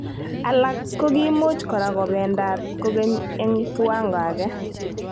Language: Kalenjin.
Alak kokiimuch kora kobendaat kokeny, eng kiwango age.